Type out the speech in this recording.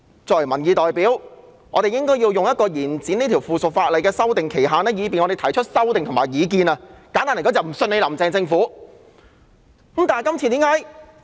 作為民意代表，我們應該利用延展這3項附屬法例的修訂期限，提出修訂和意見，簡單而言，就是因為我們不信任"林鄭"政府。